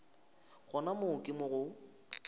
gona moo ke mo go